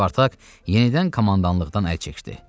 Spartak yenidən komandanlıqdan əl çəkdi.